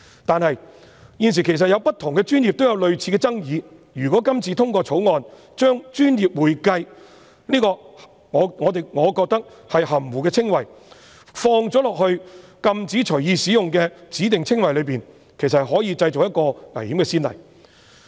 但是，現時在不同的專業也有類似爭議，如果今次通過《條例草案》，將我個人認為"專業會計"此含糊的稱謂放入禁止隨意使用的指定稱謂裏，其實可能製造危險的先例。